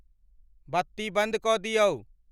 बत्ती बन्द कऽ दिऔ।